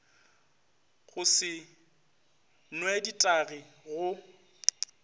go se new ditagi go